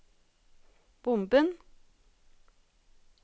bomben